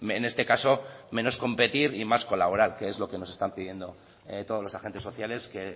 en este caso menos competir y más colaborar que es lo que nos están pidiendo todos los agentes sociales que